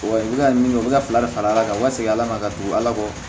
Wa u bɛ ka min kɛ u bɛ ka fila de fara ala kan u ka segin ala ma ka don ala kɔ